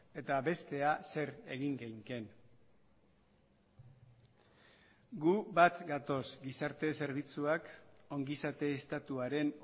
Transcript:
eta bestea zer egin geinken gu bat gatoz gizarte zerbitzuak ongizate estatuaren